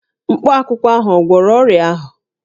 Mkpakwụkwọ ahụ ò gwọrọ ọrịa ahụ?